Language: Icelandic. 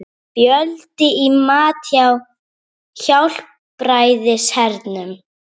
Fjöldi í mat hjá Hjálpræðishernum